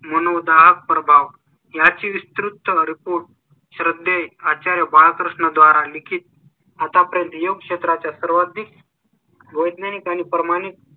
मनो दाग प्रभाव याची विस्तृत report श्रद्धे आचार्य बालकृष्ण द्वारा लिखित आतापर्यंत येऊ क्षेत्राचा सर्वाधिक. वैज्ञानिक आणि प्रमाणे.